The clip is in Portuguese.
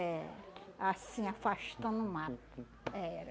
eh, assim, afastando o mato, era.